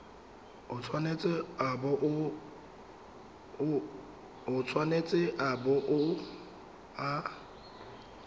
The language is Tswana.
o tshwanetse a bo a